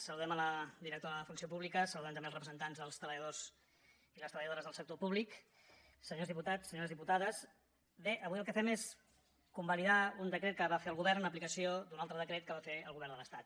saludem la directora de funció pública saludem també els representants dels treballadors i les treballadores del sector públic senyors diputats senyores diputades bé avui el que fem és convalidar un decret que va fer el govern en aplicació d’un altre decret que va fer el govern de l’estat